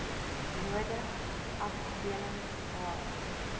nodig afdelings h